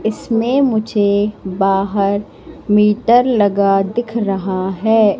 इसमें मुझे बाहर मीटर लगा दिख रहा हैं।